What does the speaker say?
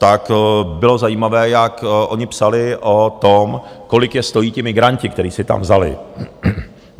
To bylo zajímavé, jak oni psali o tom, kolik je stojí ti migranti, které si tam vzali.